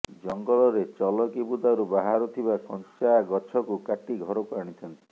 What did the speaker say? ଜଙ୍ଗଲରେ ଚଲକି ବୁଦାରୁ ବାହାରୁ ଥିବା କଞ୍ଚାଗଛକୁ କାଟି ଘରକୁ ଆାଣିଥାନ୍ତି